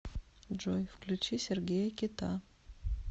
джой включи сергея кита